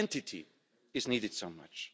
identity is needed so much.